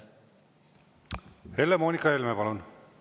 Helle-Moonika Helme, palun!